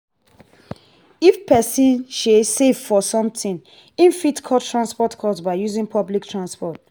if person sey save for something im fit cut transportation cost by using public transport